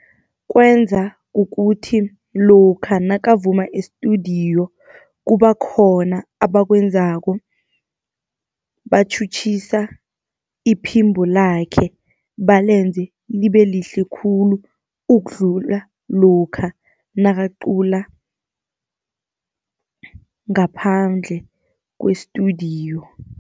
Kwenza kukuthi lokha nakavuma e-studio kuba khona abakwenzako, batjhutjhisa iphimbo lakhe balenze libe lihle khulu, ukudlula lokha nakacula ngaphandle kwe-studio.